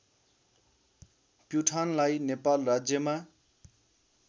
प्युठानलाई नेपाल राज्यमा